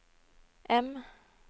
M